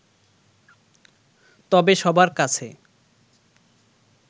তবে সবার কাছে